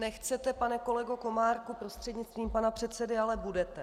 Nechcete, pane kolego Komárku, prostřednictvím pana předsedy, ale budete.